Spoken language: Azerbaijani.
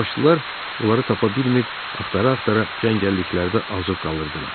Üçbaşlılar onları tapa bilmir, axtara-axtara cəngəlliklərdə azıb qalırdılar.